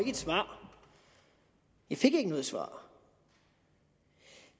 et svar jeg fik ikke noget svar